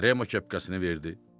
Remo kepkasını verdi.